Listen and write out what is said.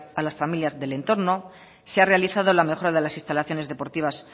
a las familias del entorno se ha realizado la mejora de las instalaciones deportivas